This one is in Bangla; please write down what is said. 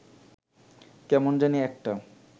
কেমন জানি একটা